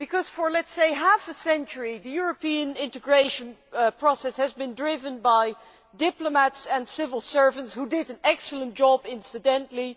For half a century, the European integration process has been driven by diplomats and civil servants who did an excellent job, incidentally.